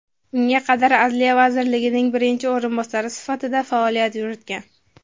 unga qadar Adliya vazirining birinchi o‘rinbosari sifatida faoliyat yuritgan.